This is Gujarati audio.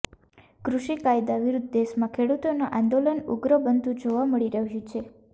કૃષિ કાયદા વિરુદ્ધ દેશમાં ખેડૂતોના આંદોલન ઉગ્ર બનતું જોવા મળી રહ્યું છે